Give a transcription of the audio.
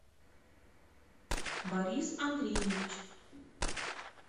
борис андреевич